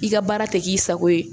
I ka baara tɛ k'i sago ye